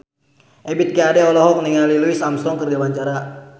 Ebith G. Ade olohok ningali Louis Armstrong keur diwawancara